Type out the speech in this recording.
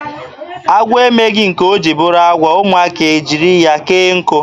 Agwọ emeghị nke o jiri bụrụ agwọ, ụmụaka a chịrị ya kee nkụ.